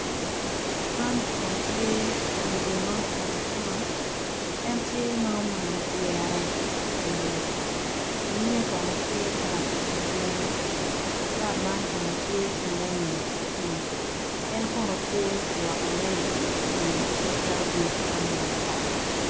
Man kono tye mego ma ocung acunga en tye ma omano pyere ki kitenge nyime kono tye ma griin bap man kono tye ki nyanya ki pii en kono tye ka lwoko nyanya ki i pii ci ketogi i cwan me acata.